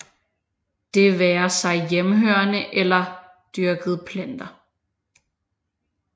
Det være sig hjemmehørende eller dyrkede planter